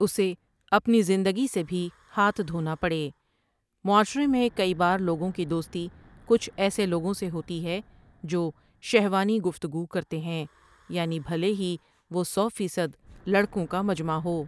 اُسے آپنی زندگی سے بھی ہاتھ دھونا پڑے معاشرے میں کئی بار لوگوں کی دوستی کچھ ایسے لوگوں سے ہوتی ہے جو شہوانی گفتگو کرتے ہیں، یعنی بھلے ہی وہ سو فیصد لڑکوں کا مجمع ہو۔